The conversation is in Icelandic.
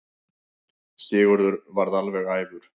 Sigurður varð alveg æfur.